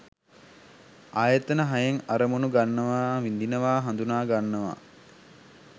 ආයතන හයෙන් අරමුණු ගන්නවා විඳිනවා හඳුනා ගන්නවා